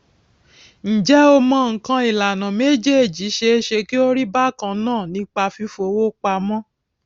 njé o mò nnkan ìlànà méjèèjì ṣeéṣe kí ó rí bákan náà nípa fífowó pamó